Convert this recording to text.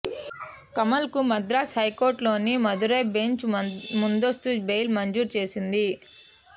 కమల్కు మద్రాసు హైకోర్టులోని మదురై బెంచ్ ముందస్తు బెయిల్ మంజూరు చేసింది